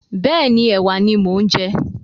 Bẹ́ẹ̀ni, ẹ̀wà ni mo ń jẹ.